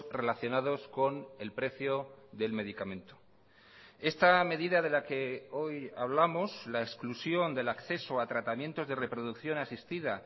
relacionados con el precio del medicamento esta medida de la que hoy hablamos la exclusión del acceso a tratamientos de reproducción asistida